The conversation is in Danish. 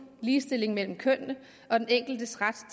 ligestillingen mellem kønnene og den enkeltes ret